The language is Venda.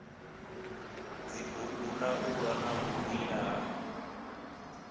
dzibugu ndaula na vhukwila ha